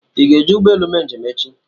Ị ga-eji ụgbọ elu eme njem echi?